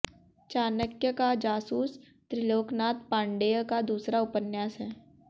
चाणक्य का जासूस त्रिलोकनाथ पांडेय का दूसरा अपन्यास है